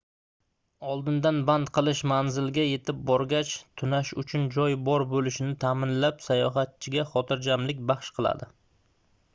oldindan band qilish manzilga yetib borgach tunash uchun joy bor boʻlishini taʼminlab sayohatchiga xotirjamlik baxsh qiladi